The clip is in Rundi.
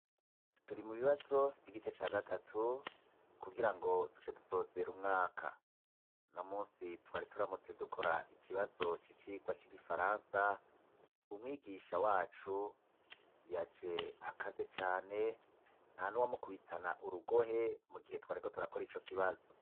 Turi mu bibazo vy'igice ca gatatu, kugira ngo duce dusozera umwaka; uno munsi twari turamutse dukora ikibazo c'icigwa c'igifaransa, umwigisha wacu yaje akaze cane, nta n'uwamukubitana urugohe, mu gihe twariko turakora ico kibazo.